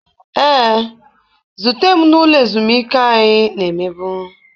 Ee, zute m n'ụlọ ezumike anyị na-emebu